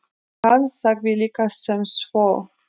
Hann sagði líka sem svo: